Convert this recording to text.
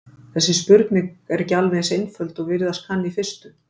Þessi spurning er ekki alveg eins einföld og virðast kann í fyrstu.